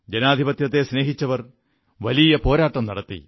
ജനാധിപത്യത്തെ സ്നേഹിച്ചവർ വലിയ പോരാട്ടം നടത്തി